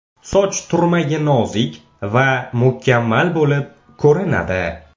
Soch turmagi nozik va mukammal bo‘lib ko‘rinadi.